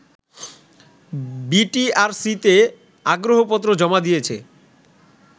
বিটিআরসিতে আগ্রহপত্র জমা দিয়েছে